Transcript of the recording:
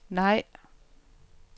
nej